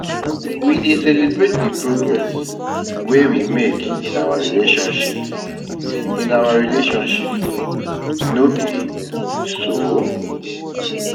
We dey celebrate the progress wey we make in our relationships, in our relationships, no be so?